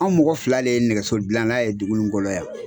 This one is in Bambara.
An mɔgɔ fila de ye nɛgɛso gilan na ye dugu in kɔnɔ yan